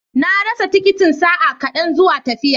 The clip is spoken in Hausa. Na rasa tikitin sa'a kaɗan zuwa tafiya.